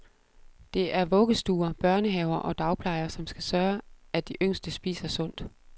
Det er vuggestuer, børnehaver og dagplejer, som skal sørge, at de yngste spiser sundt.